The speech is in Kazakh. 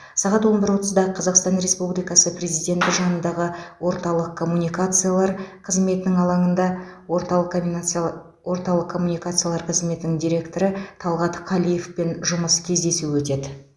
сағат он бір отызда қазақстан республикасы президенті жанындағы орталық коммуникациялар қызметінің алаңында орталық коминациялар орталық коммуникациялар қызметінің директоры талғат қалиевпен жұмыс кездесуі өтеді